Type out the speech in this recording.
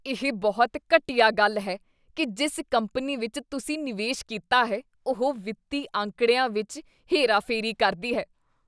ਇਹ ਬਹੁਤ ਘਟੀਆ ਗੱਲ ਹੈ ਕੀ ਜਿਸ ਕੰਪਨੀ ਵਿੱਚ ਤੁਸੀਂ ਨਿਵੇਸ਼ ਕੀਤਾ ਹੈ, ਉਹ ਵਿੱਤੀ ਅੰਕੜਿਆਂ ਵਿੱਚ ਹੇਰਾਫੇਰੀ ਕਰਦੀ ਹੈ।